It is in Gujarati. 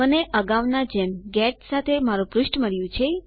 મને અગાઉના જેમ ગેટ સાથે મારું પૃષ્ઠ મળ્યું છે